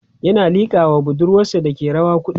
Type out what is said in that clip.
ƴan a liƙa was budurwasa Dake rawa kuɗi